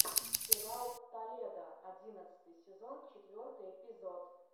сериал толедо одиннадцатый сезон четвертый эпизод